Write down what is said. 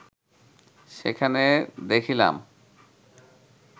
সেখানে দেখিলাম